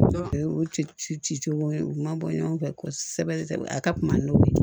O ci ci cogo ye u ma bɔ ɲɔgɔn fɛ kosɛbɛ a ka kunba n'o ye